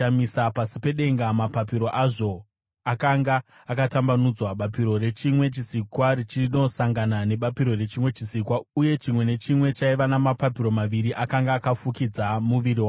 Pasi pedenga mapapiro azvo akanga akatambanudzwa, bapiro rechimwe chisikwa richinosangana nebapiro rechimwe chisikwa, uye chimwe nechimwe chaiva namapapiro maviri akanga akafukidza muviri wacho.